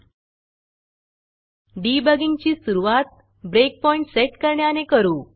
debugging ची सुरूवात breakpointब्रेकपॉइण्ट सेट करण्याने करू